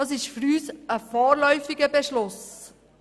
Das ist für uns ein vorläufiger Beschluss.